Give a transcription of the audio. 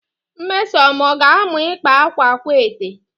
Nmesoma ọ ga-amụ ịkpa akwa akwaete?